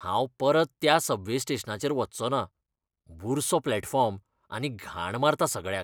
हांव परत त्या सबवे स्टेशनाचेर वच्चों ना. बुरसो प्लॅटफॉर्म आनी घाण मारता सगळ्याक.